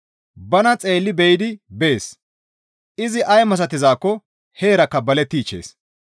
Bana xeelli be7idi bees; izi ay misatizaakko heerakka balettichchees.